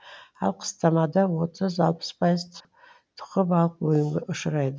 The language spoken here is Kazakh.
ал қыстамада отыз алпыс пайыз тұқы балық өлімге ұшырайды